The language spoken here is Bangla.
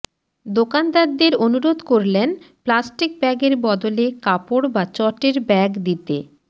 দোকানদারদের অনুরোধ করলেন প্লাস্টিক ব্যাগের বদলে কাপড় বা চটের ব্যাগ দিতে